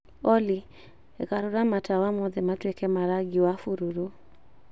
Olly garũra matawa mothe matuĩke ma rangi wa bururu